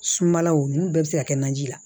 Sumalaw n'u bɛɛ bɛ se ka kɛ naji la